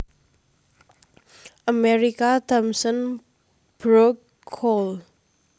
Amerika Thomson Brook Cole